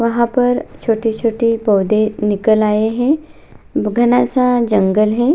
वहां पर छोटे-छोटे पौधे निकल आए है घना सा जंगल है।